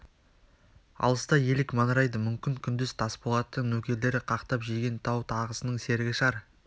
алыста елік маңырайды мүмкін күндіз тасболаттың нөкерлері қақтап жеген тау тағысының серігі шығар